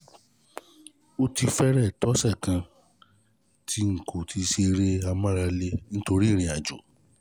Ó ti fẹ́rẹ̀ẹ́ tó ọ̀sẹ̀ kan kan tí n kò ti ṣe eré ìmárale nítorí ìrìn-àjò